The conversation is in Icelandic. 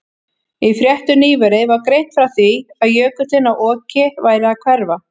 Í fréttum nýverið var greint frá því að jökullinn á Oki væri að hverfa.